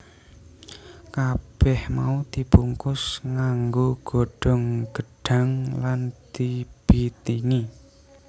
Kabèh mau dibungkus nganggo godhong gedhang lan dibitingi